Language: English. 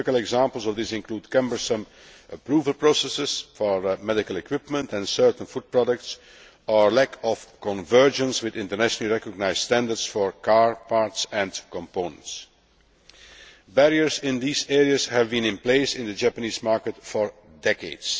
Typical examples of these include cumbersome approval processes for medical equipment and certain food products, and lack of convergence with internationally recognised standards for car parts and components. Barriers in these areas have been in place in the Japanese market for decades.